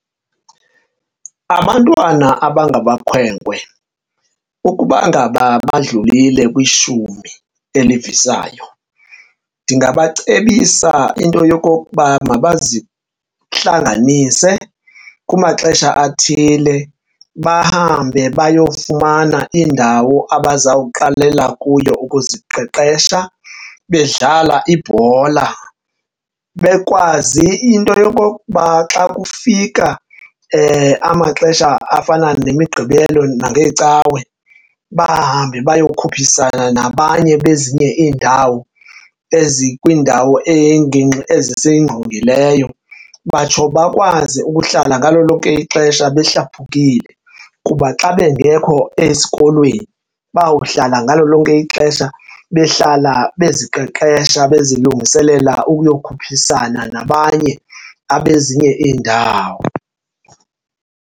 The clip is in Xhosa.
Abantwana abangamakhwenkwe ukuba ngaba badlulile kwishumi elivisayo, ndingabacebisa into yokokuba mabazihlanganise kumaxesha athile bahambe bayofumana indawo abazawuqalela kuyo ukuziqeqesha bedlala ibhola. Bekwazi into yokokuba xa kufika amaxesha afana neMiqgibelo nangeeCawe bahambe bayokukhuphisana nabanye bezinye iindawo ezikwindawo engingqi ezisingqongileyo. Batsho bakwazi ukuhlala ngalo lonke ixesha behlaphukile kuba xa bengekho esikolweni bawuhlala ngalo lonke ixesha behlala beziqeqesha bezilungiselela ukuyokhuphisana nabanye abe ezinye iindawo.